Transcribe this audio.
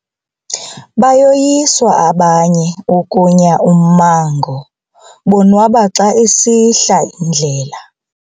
Bayoyiswa abanye ukunya ummango bonwaba xa isihla indlela.